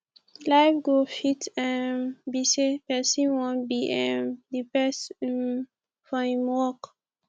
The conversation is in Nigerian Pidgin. life goal fit um be sey person wan be um di best um for im work